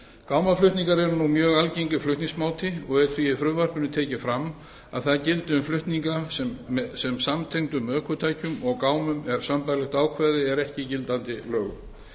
gámaflutningar eru nú mjög algengur flutningsmáti og er því í frumvarpinu tekið fram að það gildi um flutninga sem samtengdum ökutækjum og gámum en sambærilegt ákvæði er ekki í gildandi lögum